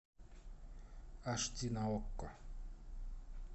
аш ди на окко